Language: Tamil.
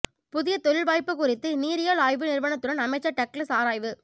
புதிய தொழில் வாய்ப்பு குறித்து நீரியல் ஆய்வு நிறுவனத்துடன் அமைச்சர் டக்ளஸ் ஆராய்வு